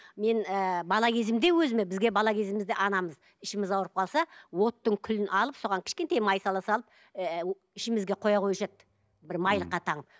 мен ы бала кезімде өзіме бізге бала кезімізде анамыз ішіміз ауырып қалса оттың күлін алып соған кішкентай май сала салып ы ішімізге қоя қоюшы еді бір майлыққа таңып